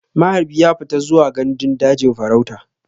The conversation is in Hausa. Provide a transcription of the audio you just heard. Maharbi ya fita zuwa gandun daji farauta.